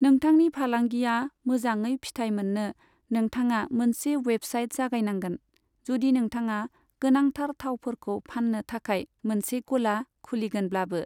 नोंथांनि फालांगिआ मोजाङै फिथाइ मोननो, नोंथाङा मोनसे वेबसाइट जागायनांगोन, जुदि नोंथाङा गोनांथार थावफोरखौ फाननो थाखाय मोनसे गला खुलिगोनब्लाबो।